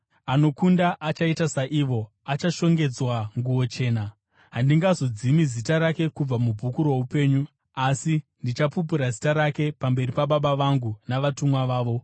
Anokunda achaita saivo, achashongedzwa nguo chena. Handingazodzimi zita rake kubva mubhuku roupenyu, asi ndichapupura zita rake pamberi paBaba vangu navatumwa vavo.